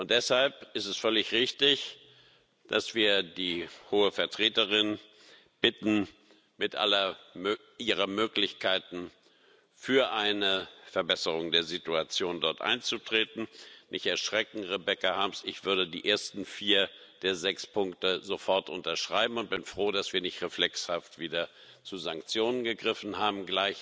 Deshalb ist es völlig richtig, dass wir die Hohe Vertreterin bitten, mit all ihren Möglichkeiten für eine Verbesserung der Situation dort einzutreten. Nicht erschrecken, Rebecca Harms, ich würde die ersten vier der sechs Punkte sofort unterschreiben. Ich bin froh, dass wir nicht gleich wieder reflexhaft zu Sanktionen gegriffen haben.